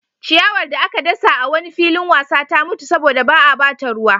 Ciyawar da aka dasa a wani filin wasa ta mutu saboda ba a ba ta ruwa.